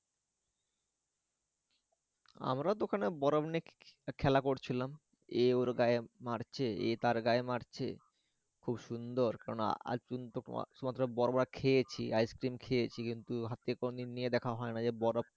আমরা তো ওখানে বরফ নিয়ে খেলা করছিলাম এ ওর গায়ে মারছে এ তার গায়ে মারছে খুব সুন্দর কেননা আজ পর্যন্ত তোমার শুধুমাত্র বরফ টা খেয়েছি আইস্ক্রিম খেয়েছি কিন্তু হাতে কোনদিন নিয়ে দেখা হয়নাই যে বরফ।